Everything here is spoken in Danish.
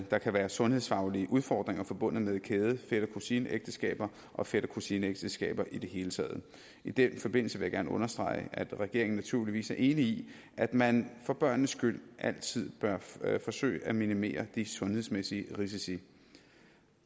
der kan være sundhedsfaglige udfordringer forbundet med kæde fætter kusine ægteskaber og fætter kusine ægteskaber i det hele taget i den forbindelse vil jeg gerne understrege at regeringen naturligvis er enig i at man for børnenes skyld altid bør forsøge at minimere de sundhedsmæssige risici